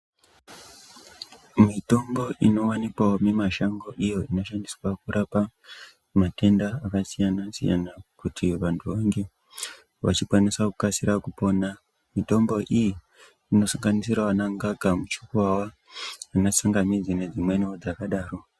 Mitombo inowanikwavo mumashango iyo inoshandiswa kurapa matenda akasiyana-siyana. Kuti vantu vange vachikwanisa kukasira kupona. Mitombo iyi inosanganisira vanangaka, muchikuvava, vanatsangamidzi nedzimweniwo dzakadaro.